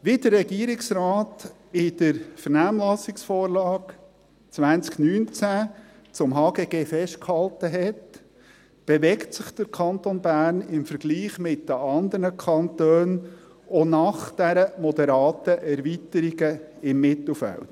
Wie der Regierungsrat in der Vernehmlassungsvorlage 2019 zum HGG festgehalten hat, bewegt sich der Kanton Bern im Vergleich mit den anderen Kantonen auch nach diesen moderaten Erweiterungen im Mittelfeld.